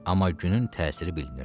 Amma günün təsiri bilinirdi.